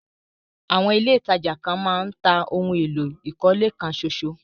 Àwọn ilẹ̀ ìtajà kan máa ń tà ohun èlò ìkọ́lé kan ṣóṣó.